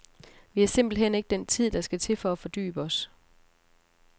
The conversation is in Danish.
Vi har simpelt hen ikke den tid, der skal til for at fordybe os.